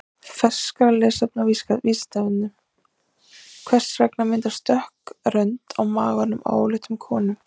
Frekara lesefni á Vísindavefnum: Hvers vegna myndast dökk rönd á maganum á óléttum konum?